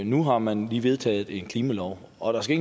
nu har man lige vedtaget en klimalov og der skal